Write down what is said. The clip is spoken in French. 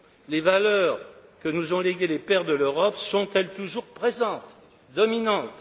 Les valeurs que nous ont léguées les pères de l'Europe sont elles toujours présentes, dominantes?